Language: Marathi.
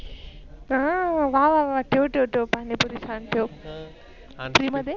अं वा वा ठेव ठेव पाणी पुरी ठेव फ्री मध्ये.